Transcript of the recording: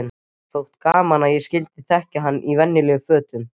Þótti gaman að ég skyldi þekkja hann í venjulegum fötum.